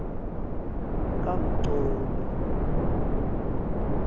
kamxoli